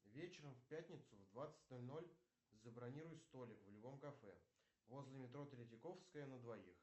вечером в пятницу в двадцать ноль ноль забронируй столик в любом кафе возле метро третьяковская на двоих